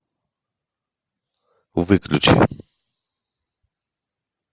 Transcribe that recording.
выключи